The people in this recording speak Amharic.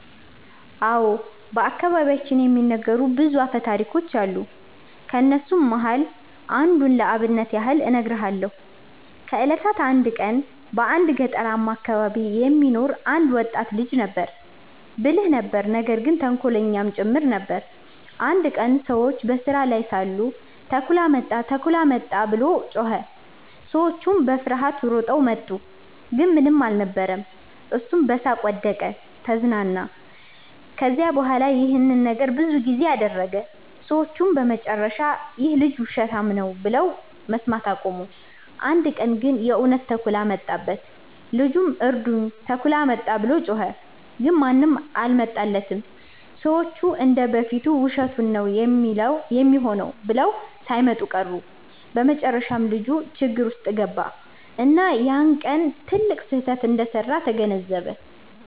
አዎ። በአከባቢያችን የሚነገሩ ብዙ አፈታሪኮች አሉ። ከነሱም መሃል አንዱን ለአብነት ያህል እነግርሃለው። ከ እለታት አንድ ቀን በአንድ ገጠርማ አከባቢ የሚኖር አንድ ወጣት ልጅ ነበረ። ብልህ ነበር ነገር ግን ተንኮለኛም ጭምር ነበር። አንድ ቀን ሰዎች በስራ ላይ ሳሉ “ተኩላ መጣ! ተኩላ መጣ!” ብሎ ጮኸ። ሰዎቹም በፍርሃት ሮጠው መጡ፣ ግን ምንም አልነበረም። እሱም በሳቅ ወደቀ(ተዝናና)። ከዚያ በኋላ ይህን ነገር ብዙ ጊዜ አደረገ። ሰዎቹም በመጨረሻ “ይህ ልጅ ውሸታም ነው” ብለው መስማት አቆሙ። አንድ ቀን ግን የእውነት ተኩላ መጣበት። ልጁም “እርዱኝ! ተኩላ መጣ!” ብሎ ጮኸ። ግን ማንም አልመጣለትም፤ ሰዎቹ እንደ በፊቱ ውሸቱን ነው ሚሆነው ብለው ሳይመጡ ቀሩ። በመጨረሻም ልጁ ችግር ውስጥ ገባ፣ እና ያ ቀን ትልቅ ስህተት እንደሰራ ተገነዘበ።